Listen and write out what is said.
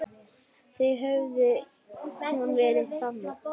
Þá hefði hún verið þannig